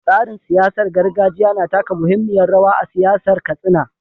Tsarin siyasar gargajiya na taka muhimmiyar rawa a siyasar Katsina.